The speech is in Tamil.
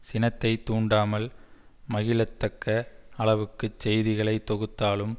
சினத்தைத் தூண்டாமல் மகிழத்தக்க அளவுக்கு செய்திகளை தொகுத்தும்